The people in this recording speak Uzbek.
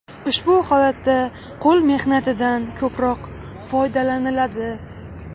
Ushbu holatda qo‘l mehnatidan ko‘proq foydalaniladi.